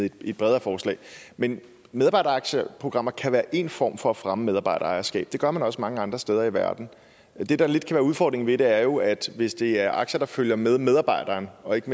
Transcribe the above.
i et bredere forslag men medarbejderaktieprogrammer kan være én form for fremme af medarbejderejerskab det gør man også mange andre steder i verden det der lidt kan være udfordringen ved det er jo at hvis det er aktier der følger med medarbejderen og ikke